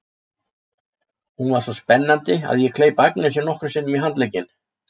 Hún var svo spennandi að ég kleip Agnesi nokkrum sinnum í handlegginn.